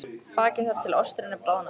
Bakið þar til osturinn er bráðnaður.